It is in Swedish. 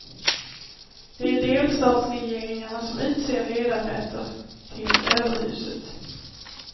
Det är delstatsregeringarna som utser ledamöter till överhuset.